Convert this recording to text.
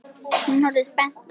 Hún horfir spennt á.